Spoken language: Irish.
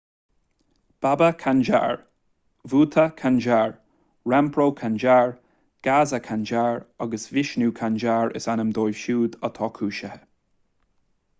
baba kanjar bhutha kanjar rampro kanjar gaza kanjar agus vishnu kanjar is ainm dóibh siúd atá cúisithe